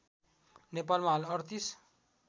नेपालमा हाल ३८